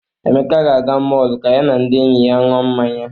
Emeka ga-aga mọọlụ ka ya na ndị enyi ya ṅụọ mmanya.